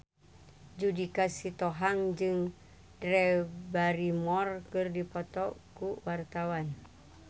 Judika Sitohang jeung Drew Barrymore keur dipoto ku wartawan